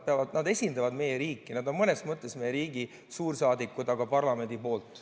Nad esindavad meie riiki, nad on mõnes mõttes meie riigi suursaadikud, aga parlamendist.